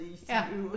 Ja